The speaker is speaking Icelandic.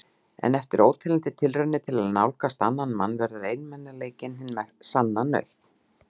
En eftir óteljandi tilraunir til að nálgast annan mann verður einmanaleikinn hin sanna nautn.